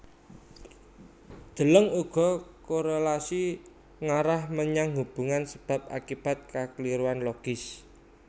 Deleng uga korélasi ngarah menyang hubungan sebab akibat kakliruan logis